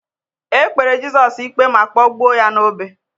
E kpere Jizọs ikpe ma kpọgbuo ya n'obe.